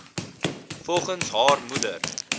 volgens haar moeder